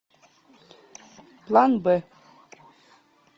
план б